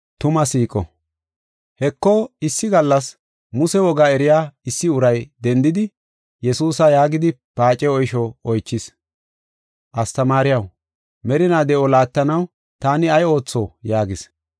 Heko, issi gallas Muse woga eriya issi uray dendidi Yesuusa yaagidi paace oysho oychis. “Astamaariyaw, merina de7o laattanaw taani ay ootho?” yaagis.